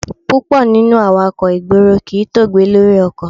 Púpọ̀ nínú awakọ̀ ìgboro kì í tóògbé lórí ọkọ̀.